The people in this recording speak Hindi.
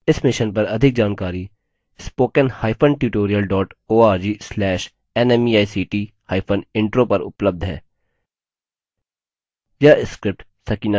इस मिशन पर अधिक जानकारी spoken hyphen tutorial dot org slash nmeict hyphen intro पर उपलब्ध है